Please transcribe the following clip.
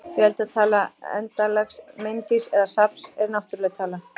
Fjöldatala endanlegs mengis eða safns er náttúruleg tala.